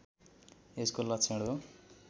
यसको लक्षण हो